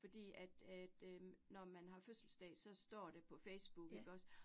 Fordi at at øh når man har fødselsdag, så står det på Facebook ikke også